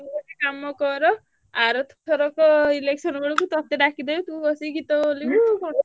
ତୁ ଗୋଟେ କାମ କର ଆରଥରକ election ବେଳକୁ ଟଟେ ଡାକିଦେବେ ତୁ ବସିକି ଗୀତ ବୋଲିବୁ ଆଉ।